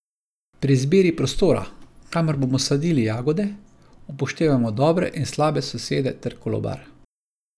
Pri izbiri prostora, kamor bomo sadili jagode, upoštevajmo dobre in slabe sosede ter kolobar.